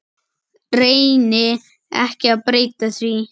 Reyni ekki að breyta því.